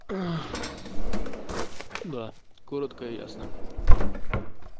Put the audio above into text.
аа да коротко и ясно